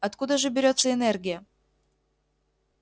откуда же берётся энергия